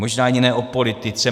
Možná ani ne o politice.